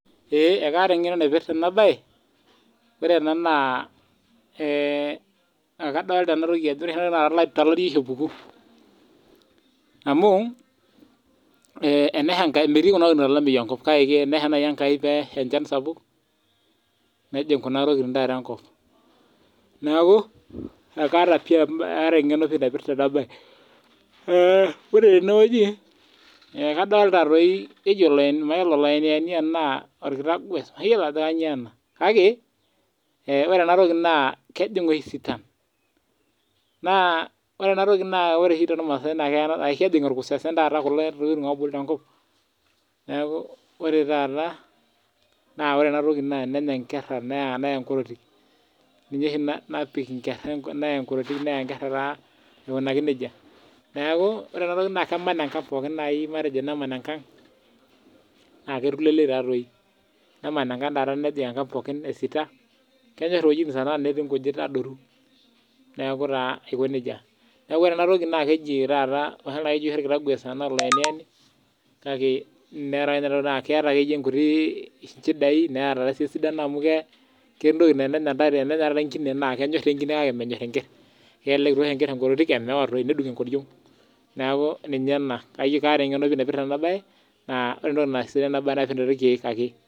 Ee kaata engeno naipirta ena bae ore ena na kadolta enatoki a ore tolari oshi epuku amu metii kuna tokitin tolameyu kake tenesha nai enkai pesha enchan sapuk nejing kuna tokitin enkop neaku kaata engeno naipirta ena ae ore tenewueji kadolta oloenieni amu ina orkitavies mayiolo ajo kanyio ena ore enatoki na kejing oshi sitan na ore oshi tormaasai ashu ejing orkusese kulo tokitin obulu tenkop neaku ore taata ore enatoki na enenya nkera neya enkorotik ninye isho napik enkorotik neya nkera aikunaki nejia ore enatoki na keman enkang nejing enkang pokki esita kenyor wuejitin natii nkujit adoru neaku taa aiko nejia neaku ore enatoki keji taata mayiolo anakeki orkitagues anaa oloinieni na keeta nkuti chidai neeta esidano amu kenyor taa enkine kake menyor enker kelek itoosh enker enkorotik omeyawa toi nedung enkoriong na kaata engeno naipirta enabae na irkiek ake.